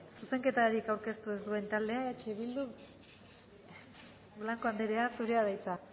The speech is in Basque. zuzenketarik aurkeztu ez duen taldea eh bildu blanco anderea zurea da hitza